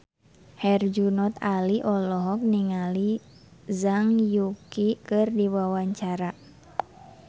Herjunot Ali olohok ningali Zhang Yuqi keur diwawancara